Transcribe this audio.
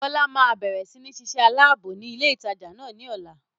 Bọlá má bẹ̀rẹ̀ sini ṣíṣe aláàbò ni ilé ìtajà náà ni ọ̀la.